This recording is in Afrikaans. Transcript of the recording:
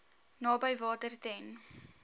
naby water ten